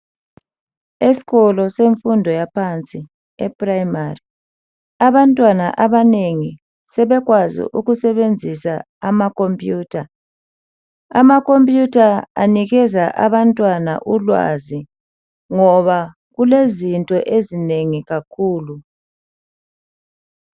Isikolo semfundo yaphansi ephrayimari abantwana abanengi sebekwazi ukusebenzisa ama khompuyutha, ama khompuyutha anikeza abantwana ulwazi ngoba kulezinto ezinengi kakhulu.